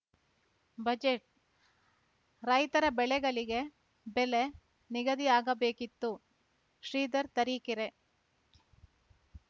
budget ರೈತರ ಬೆಳೆಗಳಿಗೆ ಬೆಲೆ ನಿಗದಿ ಆಗಬೇಕಿತ್ತು ಶ್ರೀಧರ್‌ ತರೀಕೆರೆ